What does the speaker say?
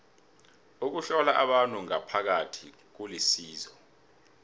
ukuhlola abantu ngaphakathi kulisizo